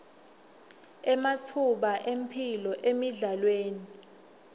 ematfuba emphilo emidlalweni